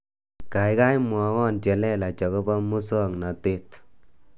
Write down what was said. Kaikai mwowo chelelach akobo musoknatet